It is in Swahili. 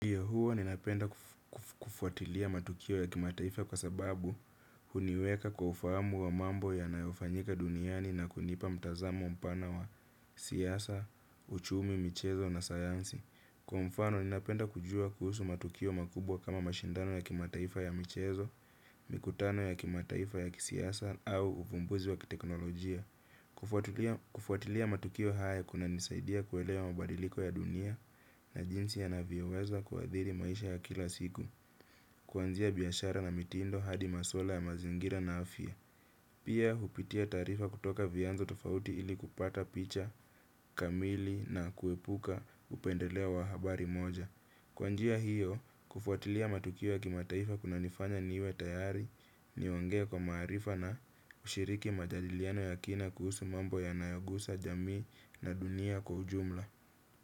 Ya huo ninapenda kufuatilia matukio ya kimataifa kwa sababu huniweka kwa ufahamu wa mambo yanayofanyika duniani na kunipa mtazamo mpana wa siasa, uchumi, michezo na sayansi. Kwa mfano ninapenda kujua kuhusu matukio makubwa kama mashindano ya kimataifa ya michezo, mikutano ya kimataifa ya kisiasa au uvumbuzi wa kiteknolojia. Kufuatilia matukio haya kuna nisaidia kuelewa mabadiliko ya dunia na jinsi yanavyoweza kuadhiri maisha ya kila siku. Kwanzia biashara na mitindo hadi maswala ya mazingira na afia. Pia hupitia taarifa kutoka vianzo tofauti ili kupata picha, kamili na kuepuka upendeleo wa habari moja. Kwanjia hiyo, kufuatilia matukio ya kimataifa kuna nifanya niwe tayari niongee kwa maarifa na ushiriki majadiliano ya kina kuhusu mambo yanayogusa jamii na dunia kwa ujumla.